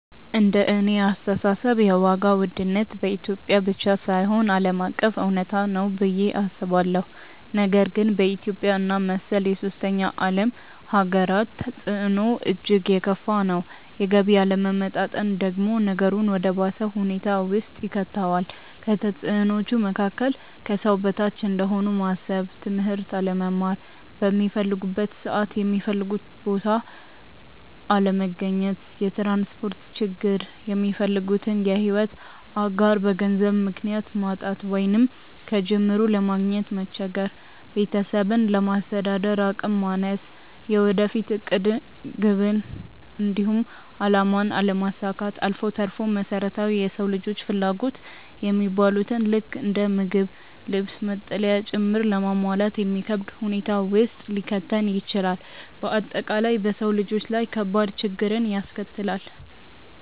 እንደኔ አስተሳሰብ የዋጋ ውድነት በኢትዮጵያ ብቻ ሳይሆን ዓለም አቀፍ እውነታ ነው ብዬ አስባለሁ፤ ነገር ግን በኢትዮጵያ እና መሰል የሶስተኛ ዓለም ሃገራት ተፅዕኖው እጅግ የከፋ ነው። የገቢ አለመመጣጠን ደግሞ ነገሩን ወደ ባሰ ሁኔታ ውስጥ ይከተዋል። ከተፅዕኖዎቹ መካከል፦ ከሰው በታች እንደሆኑ ማሰብ፣ ትምህርት አለመማር፣ ሚፈልጉበት ሰዓት የሚፈልጉበት ቦታ አለመገኘት፣ የትራንስፖርት ችግር፣ የሚፈልጉትን የሕይወት አጋር በገንዘብ ምክንያት ማጣት ወይንም ከጅምሩ ለማግኘት መቸገር፣ ቤተሰብን ለማስተዳደር አቅም ማነስ፣ የወደፊት ዕቅድን፣ ግብን፣ እንዲሁም አላማን አለማሳካት አልፎ ተርፎም መሰረታዊ የሰው ልጆች ፍላጎት የሚባሉትን ልክ እንደ ምግብ፣ ልብስ፣ መጠለያ ጭምር ለማሟላት የሚከብድ ሁኔታ ውስጥ ሊከተን ይችላል። በአጠቃላይ በሰው ልጆች ላይ ከባድ ችግርን ያስከትላል።